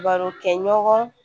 Baro kɛɲɔgɔn